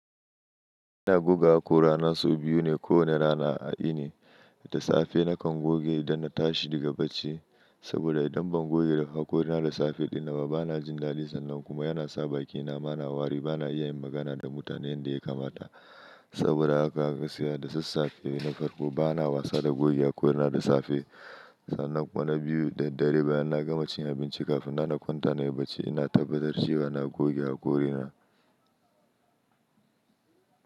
Ina goge hakora na sau biyu ne ko wane rana a iri. Da safe na kan goge don na tashi daga bacci saboda idan ban goge hakora na da safe ɗinaba bana jin sannan. Nan kuma yana sa bakina ma na wari bana iya yin magana da mutane yadda ya kamata. Saboda haka gaskiya da sassafe ina farko bana wasa da goge hakora na da safe. Sannan kuma na biyu da dare bayan na gama cin abinci kafin na na kwanta na yi bacci ina tabbatar cewa na goge hakora na.